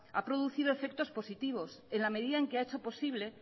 ha producido efectos positivos en la medida en que ha hecho posible